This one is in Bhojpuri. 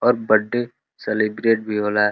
और बडे सेलिब्रेट भी होला।